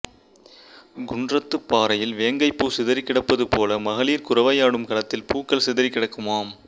குன்றத்துப் பாறையில் வேங்கைப்பூ சிதறிக் கிடப்பது போல மகளிர் குரவையாடும் களத்தில் பூக்கள் சிதறிக் கிடக்குமாம்